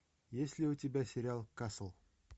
есть ли у тебя сериал касл